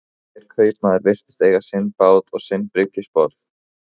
Hver kaupmaður virtist eiga sinn bát og sinn bryggjusporð.